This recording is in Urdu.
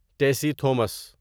ٹیسی تھومس